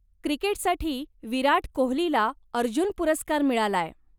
क्रिकेटसाठी विराट कोहलीला अर्जुन पुरस्कार मिळालाय.